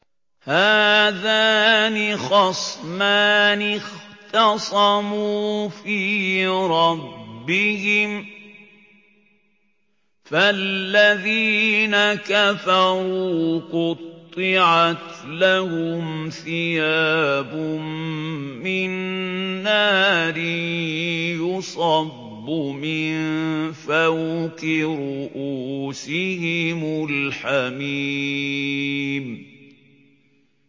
۞ هَٰذَانِ خَصْمَانِ اخْتَصَمُوا فِي رَبِّهِمْ ۖ فَالَّذِينَ كَفَرُوا قُطِّعَتْ لَهُمْ ثِيَابٌ مِّن نَّارٍ يُصَبُّ مِن فَوْقِ رُءُوسِهِمُ الْحَمِيمُ